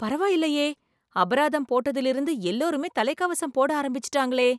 பரவாயில்லையே அபராதம் போட்டதிலிருந்து எல்லாருமே தலை கவசம் போட ஆரம்பிச்சிட்டாங்களே